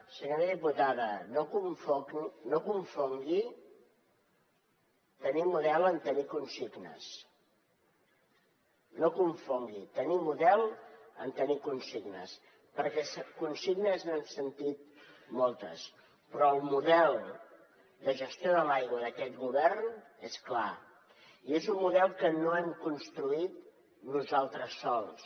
senyora diputada no confongui tenir model amb tenir consignes no confongui tenir model amb tenir consignes perquè consignes n’hem sentit moltes però el model de gestió de l’aigua d’aquest govern és clar i és un model que no hem construït nosaltres sols